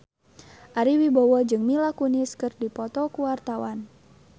Ari Wibowo jeung Mila Kunis keur dipoto ku wartawan